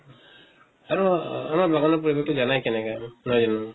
আৰু অহ আমাৰ বাগানৰ পৰিবেশ টো জানাই কেনেকা আৰু, নহয় জানো?